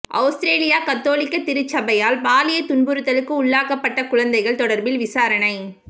அவுஸ்திரேலிய கத்தோலிக்க திருச்சபையால் பாலியல் துன்புறுத்தலுக்கு உள்ளாக்கப்பட்ட குழந்தைகள் தொடர்பில் விசாரணை